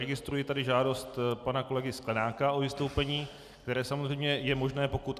Registruji tady žádost pana kolegy Sklenáka o vystoupení, které samozřejmě je možné, pokud...